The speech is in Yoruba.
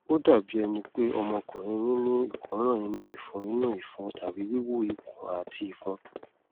ó dàbí ẹni pé ọmọkùnrin yín ní ìkóràn inú ìfun inú ìfun tàbí wíwú ikùn àti ìfun